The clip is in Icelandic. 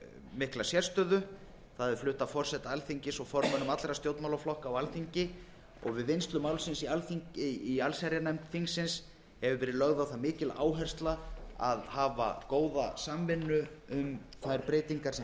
mikla sérstöðu það er flutt af forseta alþingis og formönnum allra stjórnmálaflokka á alþingi og við vinnslu málsins í allsherjarnefnd þingsins hefur verið lögð á það mikil áhersla að hafa góða samvinnu um þær breytingar sem